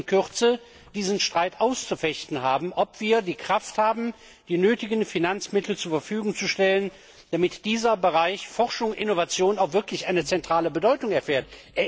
Wir werden in Kürze diesen Streit auszufechten haben, ob wir die Kraft haben, die nötigen Finanzmittel zur Verfügung zu stellen, damit dieser Bereich Forschung und Innovation auch wirklich eine zentrale Bedeutung erfährt.